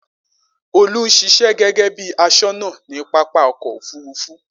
Olú ń ṣiṣẹ́ gẹ́gẹ́ bí i aṣọ́nà ní pápá ọkọ̀-òfurufú.